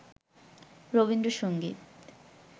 Rabindrasangeet